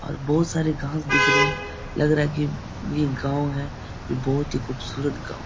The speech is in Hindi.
और बोहोत सारे घास दिख रहे हैं। लग रहा है की यह एक गाव है। यह बोहोत ही खूबसूरत गाव ।